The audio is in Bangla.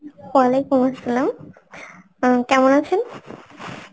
Arbi উম কেমন আছেন?